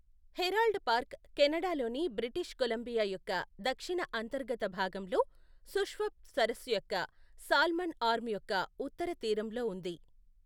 Herald Park కెనడాలోని British Columbia యొక్క దక్షిణ అంతర్గత భాగంలో, షుస్వప్ సరస్సు యొక్క సాల్మన్ ఆర్మ్ యొక్క ఉత్తర తీరంలో ఉంది.